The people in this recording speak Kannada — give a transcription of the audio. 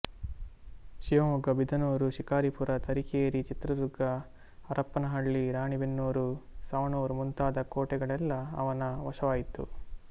ಶಿವಮೊಗ್ಗ ಬಿದನೂರು ಶಿಕಾರಿಪುರ ತರೀಕೆರೆ ಚಿತ್ರದುರ್ಗ ಹರಪನಹಳ್ಳಿ ರಾಣೇಬೆನ್ನೂರು ಸವಣೂರು ಮುಂತಾದ ಕೋಟೆಗಳೆಲ್ಲಾ ಅವನ ವಶವಾಯಿತು